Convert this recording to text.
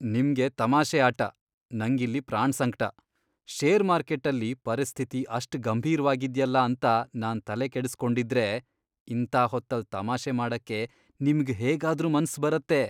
ನಿಮ್ಗೆ ತಮಾಷೆ ಆಟ, ನಂಗಿಲ್ಲಿ ಪ್ರಾಣ್ಸಂಕ್ಟ. ಷೇರ್ ಮಾರ್ಕೆಟ್ಟಲ್ಲಿ ಪರಿಸ್ಥಿತಿ ಅಷ್ಟ್ ಗಂಭೀರ್ವಾಗಿದ್ಯಲ್ಲ ಅಂತ ನಾನ್ ತಲೆಕೆಡುಸ್ಕೊಂಡಿದ್ರೆ ಇಂಥ ಹೊತ್ತಲ್ಲ್ ತಮಾಷೆ ಮಾಡಕ್ಕೆ ನಿಮ್ಗ್ ಹೇಗಾದ್ರೂ ಮನ್ಸ್ ಬರತ್ತೆ?!